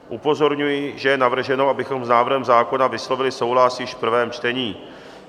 Upozorňuji, že je navrženo, abychom s návrhem zákona vyslovili souhlas již v prvém čtení.